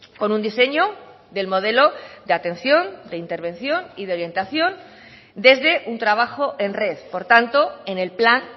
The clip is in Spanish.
con un diseño del modelo de atención de intervención y de orientación desde un trabajo en red por tanto en el plan